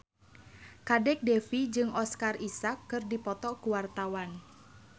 Kadek Devi jeung Oscar Isaac keur dipoto ku wartawan